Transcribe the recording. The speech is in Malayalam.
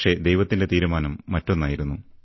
പക്ഷേ ദൈവത്തിന്റെ തീരുമാനം മറ്റൊന്നായിരുന്നു